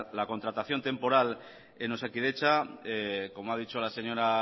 la contratación temporal en osakidetza como ha dicho la señora